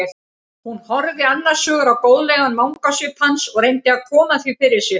Hún horfði annars hugar á góðlegan vangasvip hans og reyndi að koma því fyrir sig.